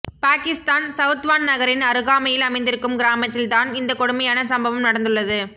பாகிஸ்தான் சௌத்வான் நகரின் அருகாமையில் அமைந்திருக்கும் கிராமத்தில் தான் இந்த கொடுமையான சம்பவம் நடந்துள்ளது